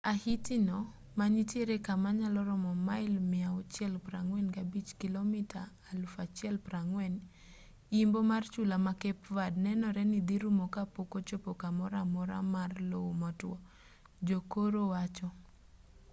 ahiti no ma nitiere kama nyalo romo mail 645 kilomita 1040 imbo mar chula ma cape verde nenore ni dhi rumo kapok ochopo kamoro amora mar lowo motwo jokoro wacho